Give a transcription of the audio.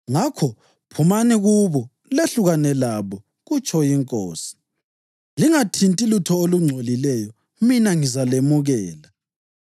Ngakho, “phumani kubo lehlukane labo, kutsho iNkosi. Lingathinti lutho olungcolileyo, mina ngizalemukela.” + 6.17 U-Isaya 52.11; UHezekhiyeli 20.34, 41